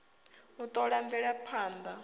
u t ola mvelaphand a